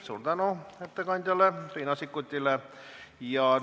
Suur tänu ettekandjale Riina Sikkutile!